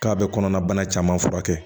K'a bɛ kɔnɔna bana caman furakɛ